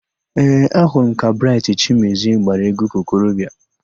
Ee, ahụrụ m ka Braịtị Chimezie gbara égwú ka okorobịa.